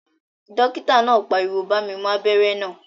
Dókítà náà pariwo "bá mi mú abẹ́rẹ́ náà